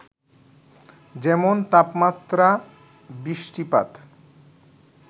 যেমন, তাপমাত্রা, বৃষ্টিপাত,